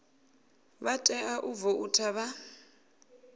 vha tea u voutha vha